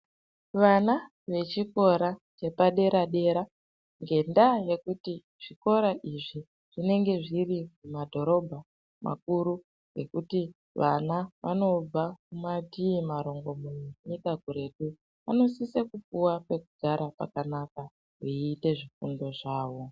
Vana ve chikora chepa dera dera ngenda yekuti zvikora izvi zvinenge zviri mu madhorobha makuru ekuti vana vanobva kumatii marungumunya enyika kuretu anosisa kupuwa pekugara pakanaka veyi ite zvifundo zvavo.